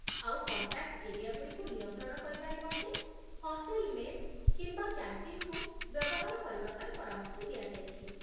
ଆଉ contact area ଗୁଡ଼ିକୁ ନିୟନ୍ତ୍ରଣ କରିବା ନିମନ୍ତେ ହଷ୍ଟେଲ ମେସ୍ କିମ୍ବା କ୍ୟାଣ୍ଟିନ୍‌କୁ ବ୍ୟବହାର କରିବାପାଇଁ ପରାମର୍ଶ ଦିଆଯାଇଛି